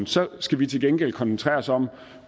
så skal vi til gengæld koncentrere os om